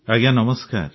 ଆଜ୍ଞା ନମସ୍କାର